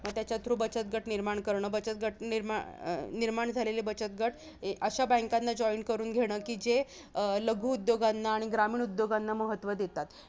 त्याच्या through बचत गट निर्माण करणं, बचत गट अं निर्माण झालेले बचत गट अशा banks ना join करून घेणं, की जे लघु अं उद्योगांना आणि ग्रामीण उद्योगांना महत्व देतात.